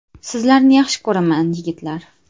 Sizlarni yaxshi ko‘raman, yigitlar.